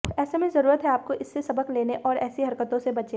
ऐसे में जरुरत हैं आपको इससे सबक लेने और ऐसी हरकतों से बचे